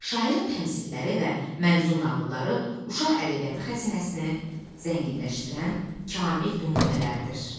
Şairin təmsilləri və mənzum nağılları uşaq ədəbiyyatı xəzinəsini zənginləşdirən kamil nümunələrdir.